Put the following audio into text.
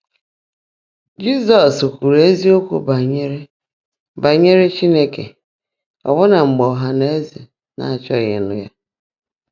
Jị́zọ́s kwùrú ézíokwú bányèré bányèré Chínekè, ọ́bụ́ná mgbe ọ́hà nà ézé ná-áchọ́ghị́ ị́nụ́ yá.